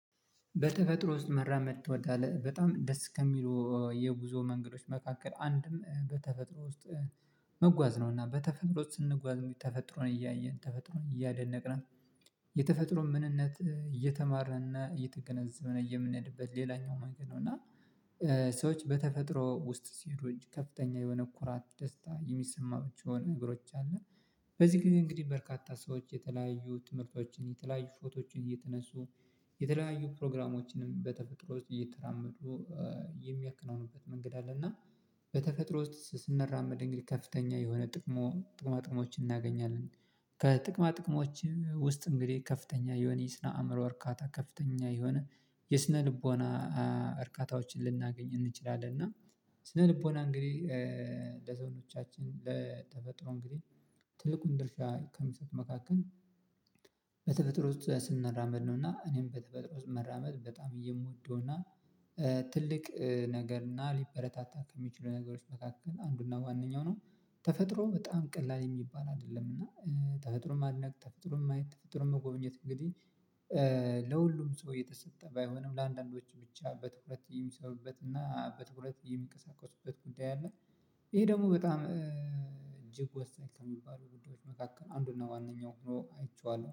በተፈጥሮ ውስጥ መራመድ ትወዳለህ በጣም ደስ ከሚለው የጉዞ መንገዶች መካከል አንድም በተፈጥሮ ውስጥ መጓዝ ነውና በተፈጥሮ ውስጥ ስንጓዝ እንዴ ተፈጥሮን እያየን ተፈጥሮን እያደነቅን የተፈጥሮ ምንነት እየተማርንና እየተገነዘበን የምንሄድበት ሌላኛው መንገድ ነው። እና ሰዎች በተፈጥሮ ውስጥ ሲሄዱ ከፍተኛ የሆነ ኩራት ደስታ የሚሰማቸውን ነግሮች አሉ። በዚህ ጊዜ እንግዲህ በርካታ ሰዎች የተለያዩ ትምህርቶችን የተለያዩ ፎቶዎችን እየተነሱ የተለያዩ ፕሮግራሞችንም በተፈጥሮ ውስጥ እየተራመዱ የሚያከናውኑበት መንገድ አለ። እና በተፈጥሮ ውስጥ ስንራመድ እንግዲህ ከፍተኛ የሆነ ጥቅማ ጥቅሞችን እናገኛለን። ከጥቅማ ጥቅሞች ውስጥ እንግዲህ ከፍተኛ የሆነ የስነ አእምሮ እርካታ ከፍተኛ የሆነ የስነ ልቦና እርካታዎችን ልናገኝ እንችላለን። እና ስነ ልቦና እንግዲህ ለዘውዶቻችን ለተፈጥሮ እንግዲህ ትልቁን ድርሻ ከምሰጥ መካከል በተበጥሮ ውስጥ ስንራመድ ነውና እኔም በተፈጥሮ ውስጥ መራመድ በጣም እየሞደው እና ትልቅ ነገር እና ሊበረታታት ከሚችሉ ነገሮች መካከል አንዱና ዋናው ነው። ተፈጥሮ በጣም ቀላል የሚባል አይደለም እና ተፈጥሮ ማድነቅ ተፈጥሮ ማየት ተፈጥሮ መጎብኘት እንግዲህ ለሁሉም ሰው እየተሰጠ ባይሆንም ለአንዳንዶቹ ብቻ በትኩረት የሚሰሩበት እና በትኩረት የሚቀሳቀሱበት ጉዳይ አለ። ይሄ ደግሞ በጣም እጅግ ወሳኝ ከሚባሉ ጉዳዮች መካከል አንዱና ዋናው ሆኖ አይቼዋለሁ